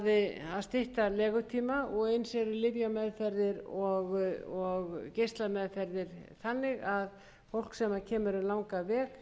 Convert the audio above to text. að stytta legutíma og eins eru lyfja og geislameðferðir þannig að fólk sem kemur um langan veg